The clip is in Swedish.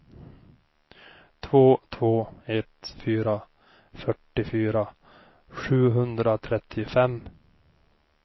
två två ett fyra fyrtiofyra sjuhundratrettiofem